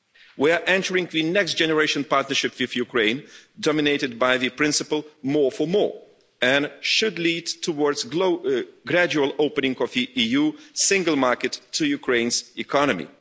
We are entering the next generation partnership with Ukraine, dominated by the principle more for more', and it should lead towards a gradual opening of the EU single market to Ukraine's economy.